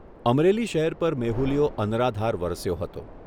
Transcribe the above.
અમરેલી શહેર પર મેહુલિયો અનરાધાર વરસ્યો હતો.